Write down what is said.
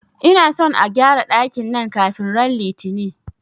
Ina son a gƴara dakin nan kafin ran Litini!